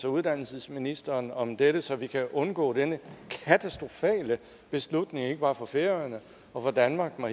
uddannelsesministeren om dette så vi kan undgå denne katastrofale beslutning ikke bare for færøerne og for danmark men